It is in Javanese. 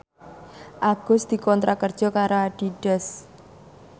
Agus dikontrak kerja karo Adidas